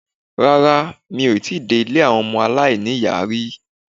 Rárá, mi ò dé ilé àwọn ọmọ aláìní-ìyá rí.